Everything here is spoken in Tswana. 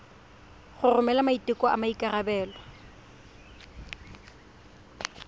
go romela maiteko a maikarebelo